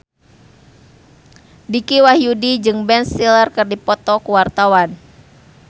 Dicky Wahyudi jeung Ben Stiller keur dipoto ku wartawan